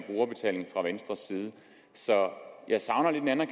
så